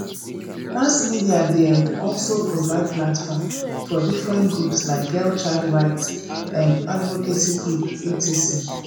mass media dey um also provide platform for different groups like girl child right um advocacy group etc